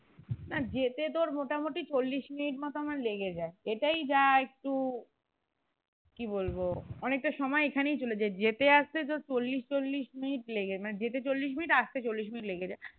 না যেতে তোর মোটামুটি চল্লিশ মিনিট মতন আমার লেগে যায় এইটাই যা একটু কি বলবো অনেকটা সময় এইখানে চলে যায় যেতে আসতে যে চল্লিশ-চল্লিশ মিনিট লেগে যেতে চল্লিশ মিনিট আসতে চল্লিশ মিনিট লেগে যায়